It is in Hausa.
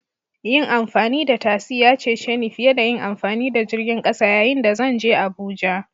Yin amfani da tasi ya cece ni fiye da yin amfani da jirgin ƙasa yayin da zan je Abuja